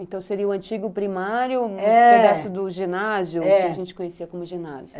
Então, seria o antigo primário, é, um pedaço do ginásio, é, que a gente conhecia como ginásio.